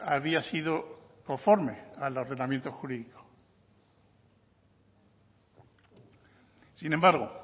había sido conforme al ordenamiento jurídico sin embargo